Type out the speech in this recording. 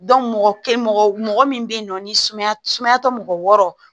mɔgɔ mɔgɔ min bɛ yen nɔ ni sumaya sumaya tɛ mɔgɔ wɔɔrɔ